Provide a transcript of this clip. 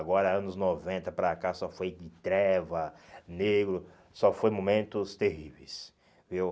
Agora, anos noventa para cá só foi de treva, negro, só foi momentos terríveis, viu?